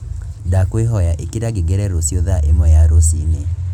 ndakwīhoya īkīra ngengere rūcio thaa īmwe ya rūcinī